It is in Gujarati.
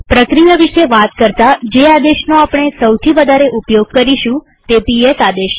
પ્રક્રિયા વિશે વાત કરતા જે આદેશનો આપણે સૌથી વધારે ઉપયોગ કરીશું તે પીએસ આદેશ છે